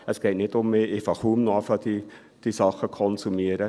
Es geht nicht um mich, ich beginne diese Dinge kaum noch zu konsumieren.